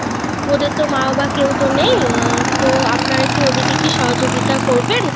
ওদের তো মা বাবা কেও তো নেয়আহ তো আপনারা কি ওদের কে কি সহযোগিতা করবেন